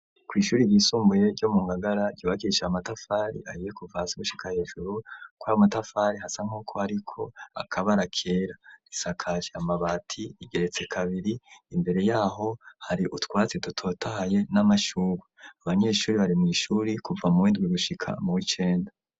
Kw'ishuri ryisumbuye ryo mu Ngagara ryubakishije amatafari ahiye kuva hasi gushika hejuru, kwayo matafari hasa nk'uko ariko akabara kera, risakaje amabati, igeretse kabiri, imbere yaho hari utwatsi dutotahaye n'amashugwe, abanyeshuri bari mw'ishuri kuva muw'indwi gushika muw'icenda.